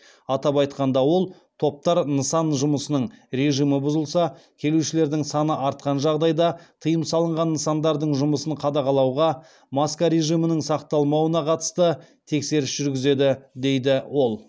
атап айтқанда ол топтар нысан жұмысының режимі бұзылса келушілердің саны артқан жағдайда тыйым салынған нысандардың жұмысын қадағалауға маска режимінің сақталмауына қатысты тексеріс жүргізеді дейді ол